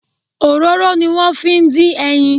Òróró ni wón fi ń dín ẹyin.